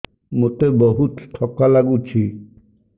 ମୋତେ ବହୁତ୍ ଥକା ଲାଗୁଛି